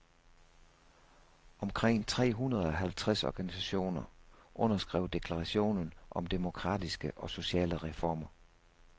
Omkring tre hundrede halvtreds organisationer underskrev deklaration om demokratiske og sociale reformer.